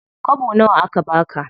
Kwabo nawa aka baka?